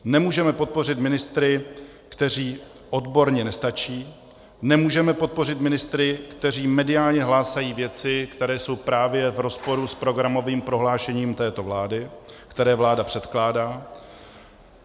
Nemůžeme podpořit ministry, kteří odborně nestačí, nemůžeme podpořit ministry, kteří mediálně hlásají věci, které jsou právě v rozporu s programovým prohlášením této vlády, které vláda předkládá.